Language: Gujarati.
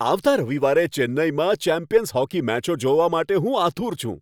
આવતા રવિવારે ચેન્નઈમાં ચેમ્પિયન્સ હોકી મેચો જોવા માટે હું આતુર છું.